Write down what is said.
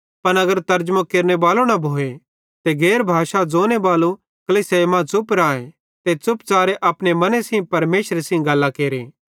पन अगर तरजमो केरनेबालो न भोए ते गैर भाषा ज़ोने बालो कलीसियाई मां च़ुप राए ते च़ुपच़ारे अपने मने सेइं परमेशरे सेइं गल्लां केरे